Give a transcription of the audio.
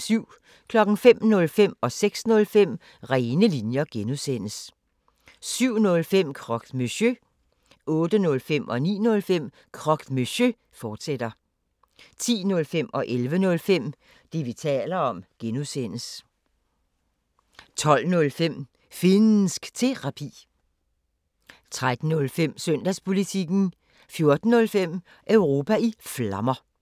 05:05: Rene linjer (G) 06:05: Rene linjer (G) 07:05: Croque Monsieur 08:05: Croque Monsieur, fortsat 09:05: Croque Monsieur, fortsat 10:05: Det, vi taler om (G) 11:05: Det, vi taler om (G) 12:05: Finnsk Terapi 13:05: Søndagspolitikken 14:05: Europa i Flammer